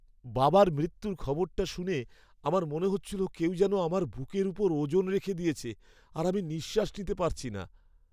বাবার মৃত্যুর খবরটা শুনে আমার মনে হচ্ছিল কেউ যেন আমার বুকের ওপর ওজন রেখে দিয়েছে আর আমি নিঃশ্বাস নিতে পারছি না।